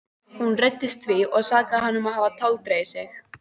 Hún reiddist því og sakaði hann um að hafa táldregið sig.